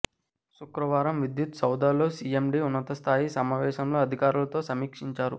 శుక్రవారం విద్యుత్ సౌదాలో సిఎండి ఉన్నత స్థాయి సమావేశంలో అధికారులతో సమీక్షించారు